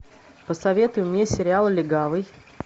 посоветуй мне сериал легавый